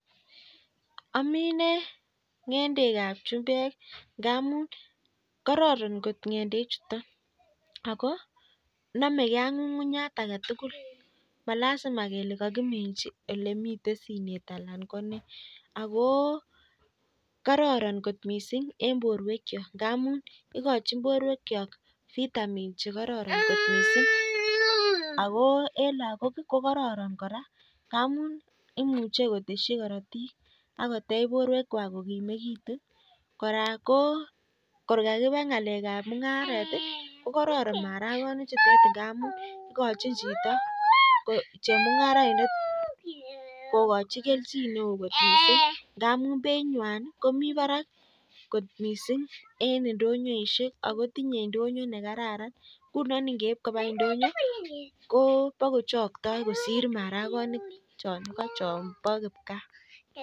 Aminei ngendek ab chumbek akoi kororon akonamekei ak kukunyek akee tugul ako kororon eng borwek chok ak lagok koteshin korotik ako beit nyaa komii barak missing eng indonyoo